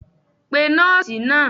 pe nọọsi naa!